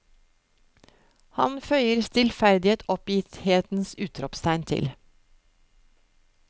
Han føyer stillferdig et oppgitthetens utropstegn til.